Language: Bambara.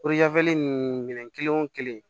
nin minɛn kelen wo kelen